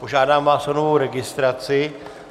Požádám vás o novou registraci.